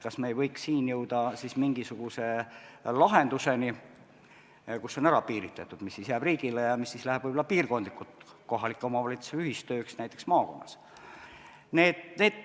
Kas me ei võiks siin jõuda mingisuguse lahenduseni, et on ära piiritletud, mis jääb riigile ja mis läheb võib-olla piirkondlikult kohaliku omavalitsuse ühistööks näiteks maakonnas?